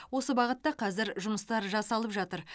осы бағытта қазір жұмыстар жасалып жатыр